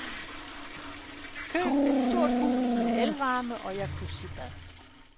Køb et stort hus med elvarme og jacuzzibad.